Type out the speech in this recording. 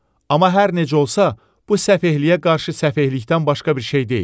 Amma hər necə olsa, bu səfehliyə qarşı səfehlikdən başqa bir şey deyil.